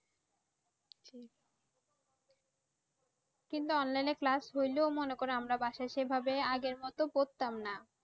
কিন্তু online এ class হইলেও মনে করো আমরা বাসায় সেভাবে আগের মতো পরতাম না।